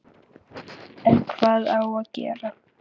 En hvað á að gera?